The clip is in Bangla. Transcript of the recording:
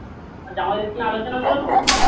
আর জামাইদের সাথে আলোচনা করেছো